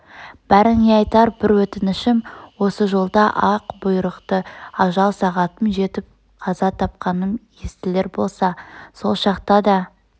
бәріңе айтар бір өтінішім осы жолда ақ бұйрықты ажал сағатым жетіп қаза тапқаным естілер болса сол шақта да